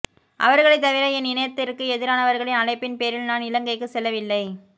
அவர்களை தவிர என் இனத்திற்கு எதிரானவர்களின் அழைப்பின் பேரில் நான் இலங்கைக்கு செல்லவில்லை